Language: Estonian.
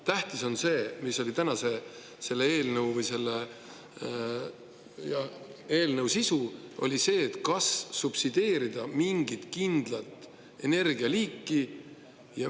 Tähtis on see, mis on tänase eelnõu: kas subsideerida mingit kindlat energialiiki.